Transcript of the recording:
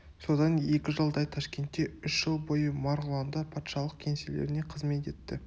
содан екі жылдай ташкентте үш жыл бойы марғұланда патшалық кеңселеріне қызмет етті